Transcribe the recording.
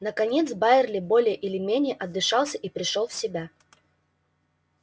наконец байерли более или менее отдышался и пришёл в себя